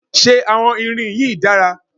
Ṣé àwọn irin yìí dára?